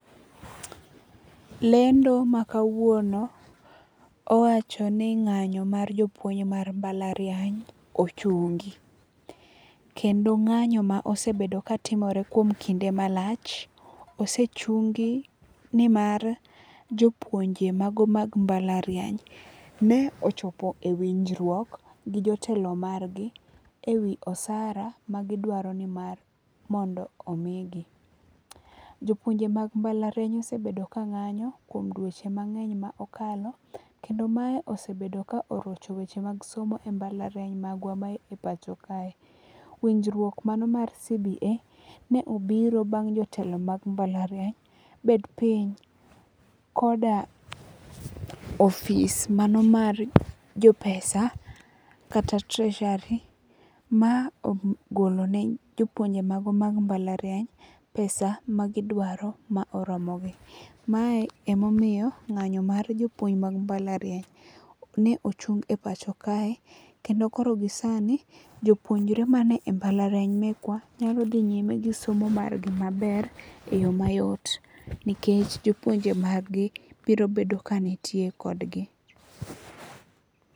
Lendo ma kawuono owacho ni ng'anyo mar jopuonj mar mbalariany ochungi. Kendo ng'anyo ma osebedo ka timore kuom kinde malach ose chungi nimar jopuonje mago mag mbalariany ne ochopo e winjruok gi jotelo mar gi e wi osara ma gidwaro ni mondo omi gi. Jopuonje mag mbalariany osebedo ka ng'anyo kuom duoche mang'eny ma okalo kendo mae osebedo ka orocho weche mag somo e mbalariany magwa ma e pacho kae. Winjruok mano mar CBA ne obiro bang' jotelo mag mbalariany bed piny koda ofis mano mar jopesa kata treasury ma ogolone jopuonje mago mag mbalariany pesa magidwaro ma oromo gi. Mae emomoyo ng'anyo mar jopuinj mag mbalariany ne ochung e pacho kae. Kendo koro gi sani jopuonjre mane e mbalariany mekwa nyalo dhi nyime gi somo mar gi maber e yo mayot. Nikech jopuonje mag gi biro bedo ka nitie kodgi.